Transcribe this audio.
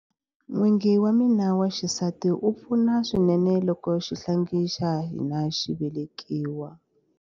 N'wingi wa mina wa xisati a pfuna swinene loko xihlangi xa hina xi velekiwa.